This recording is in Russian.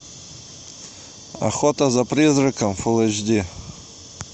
охота за призраком фул эйч ди